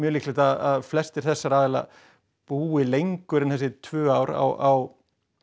líklegt að flestir þessara aðila búi lengur en þessi tvö ár á